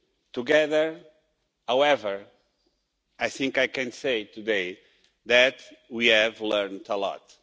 Together, however, I think I can say today that we have learned a lot.